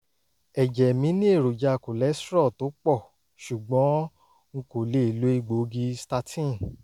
ẹ̀jẹ̀ mi ní èròjà cholesterol tó pọ̀ ṣùgbọ́n n kò lè lo egbòogi statin